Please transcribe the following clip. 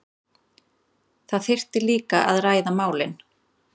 Það þyrfti líka að ræða málin